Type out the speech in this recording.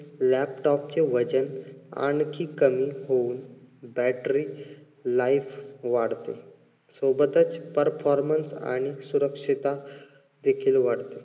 laptop चे वजन आणखी कमी होऊ battery life वाढते. सोबतच performance आणि सुरक्षितता देखील वाढते.